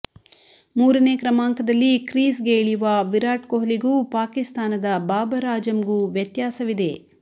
ಮೂರನೇ ಕ್ರಮಾಂಕದಲ್ಲಿ ಕ್ರೀಸ್ಗೆ ಇಳಿಯುವ ವಿರಾಟ್ ಕೊಹ್ಲಿಗೂ ಪಾಕಿಸ್ತಾನದ ಬಾಬರ್ ಆಜಮ್ಗೂ ವ್ಯತ್ಯಾಸವಿದೆ